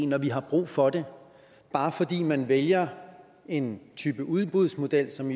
når vi har brug for det bare fordi man vælger en udbudsmodel som